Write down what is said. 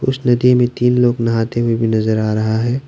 उस नदी में तीन लोग नहाते हुए भी नजर आ रहा है।